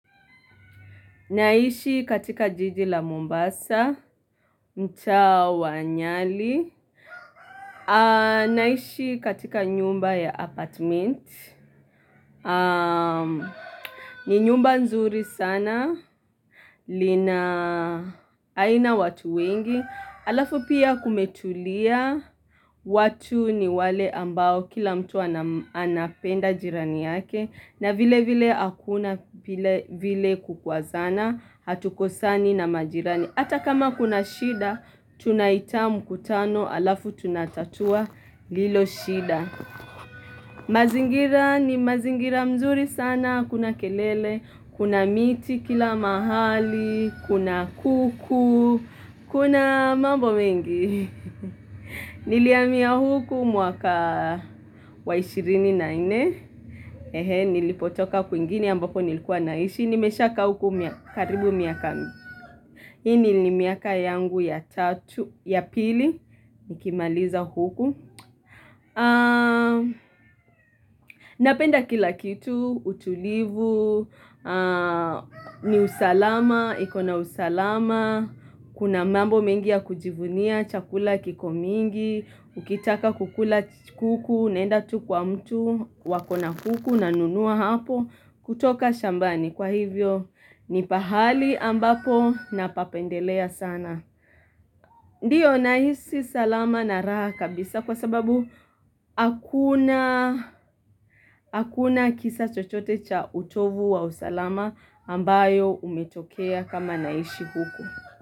Naishi katika jiji la Mombasa, mtaa wa nyali. Naishi katika nyumba ya apartment. Ni nyumba nzuri sana. Aina watu wengi. Alafu pia kumetulia. Watu ni wale ambao kila mtu anapenda jirani yake. Na vile vile akuna vile kukwazana. Hatukosani na majirani Ata kama kuna shida tunaita mkutano Alafu tunatatua lilo shida mazingira ni mazingira mzuri sana hakuna kelele Kuna miti kila mahali Kuna kuku Kuna mambo mengi Niliamia huku mwaka wa ishirini na ine Nilipotoka kwingine ambapo nilikuwa naishi Nimeshakaa huku karibu miaka hili ni miaka yangu ya pili, nikimaliza huku Napenda kila kitu, utulivu, ni usalama, ikona usalama Kuna mambo mengi ya kujivunia, chakula kiko mingi Ukitaka kukula kuku, unaenda tu kwa mtu, wakona kuku unanunua hapo kutoka shambani, kwa hivyo ni pahali ambapo napapendelea sana. Ndiyo nahisi salama na raha kabisa kwa sababu akuna akuna kisa chochote cha utovu wa usalama ambayo umetokea kama naishi huku.